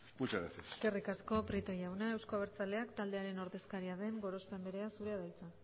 muchas gracias eskerrik asko prieto jauna euzko abertzaleak taldearen ordezkaria den gorospe andrea zurea da hitza